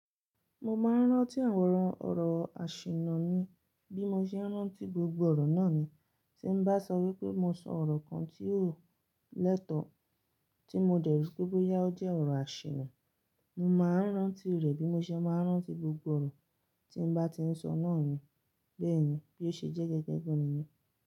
Mo máa ń rántí àwọn ọ̀rọ̀ àṣìnà mi bí mo ṣe ń rántí gbogbo ọ̀rọ̀ náà ni. Tí n bá sọ wípé mo sọ ọ̀rọ̀ kan tí kò lẹ́tọ̀ọ́ tí mo dẹ̀ ríi pé bóyá ó jẹ́ ọ̀rọ̀ àṣìnà, mo máa ń rántí rẹ̀ bí mo ṣe máa ń rántí gbogbo ọ̀rọ̀ tí n bá ti ń sọ náà ni. Bẹ́ẹ̀ni, bí ó ṣe jẹ́ gẹ́gẹ́ gan nìyẹn.